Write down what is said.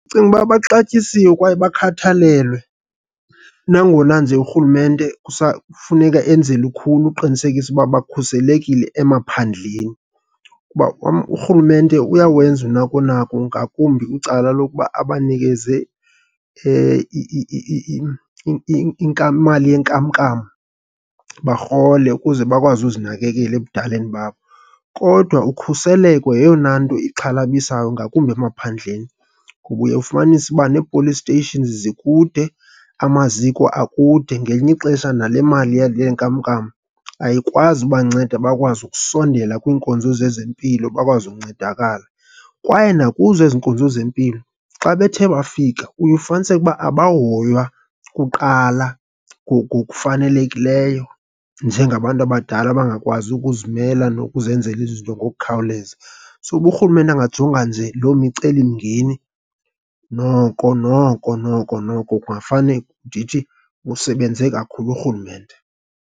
Ndicinga ukuba baxatyisiwe kwaye bakhathalelwe nangona nje urhulumente kusafuneka enze lukhulu uqinisekisa uba bakhuselekile emaphandleni kuba urhulumente uyawenza unako nako ngakumbi kwicala lokuba abanikeze imali yenkamnkam barhole ukuze bakwazi uzinakekela ebudaleni babo. Kodwa ukhuseleko yeyona nto ixhalabisayo ngakumbi emaphandleni kuba uye ufumanise uba nee-police stations zikude, amaziko akude. Ngelinye ixesha nale mali yeenkamnkam ayikwazi ukubanceda bakwazi ukusondela kwiinkonzo zezempilo bakwazi ukuncedakala. Kwaye nakuzo ezi nkonzo zempilo, xa bethe bafika uye ufumaniseke ukuba abahoywa kuqala ngokufanelekileyo njengabantu abadala abangakwazi ukuzimela nokuzenzela izinto ngokukhawuleza. So, uba urhulumente angajonga nje loo micelimngeni noko noko noko noko kungafane ndithi, usebenze kakhulu urhulumente.